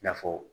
I n'a fɔ